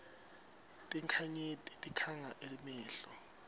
tinkhanyeti tikhanga emehlo